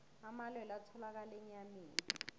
amalwelwe atholakala enyameni